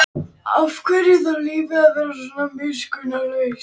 Hún var samviskusemi, sjálfsafneitun, trygglyndi og móðurást holdi klædd.